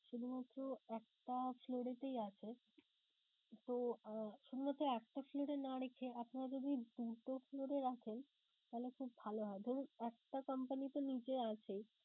শুধুমাত্র একটা floor এতেই আছে. তো আহ শুধুমাত্র একটা floor এ না রেখে আপনারা যদি দুটো floor এ রাখেন তাহলে খুব ভালো হয়. ধরুন একটা company তো নিচে আছেই